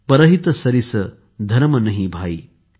परहित सरिस धरम नहीं भाई